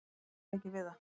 Ég bara ræð ekki við það.